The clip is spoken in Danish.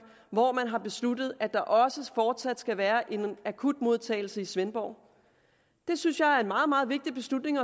hvor man har besluttet at der også fortsat skal være en akutmodtagelse i svendborg det synes jeg er en meget meget vigtig beslutning